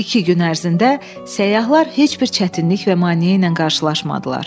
İki gün ərzində səyyahlar heç bir çətinlik və maneə ilə qarşılaşmadılar.